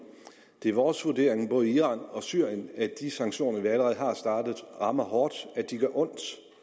det er vores vurdering både iran og syrien at de sanktioner vi allerede har startet rammer hårdt de gør ondt